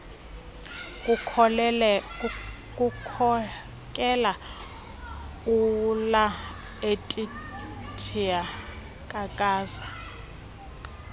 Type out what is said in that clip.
kukhokela ulaetitia kakaza